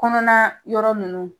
Kɔnɔna yɔrɔ nunnu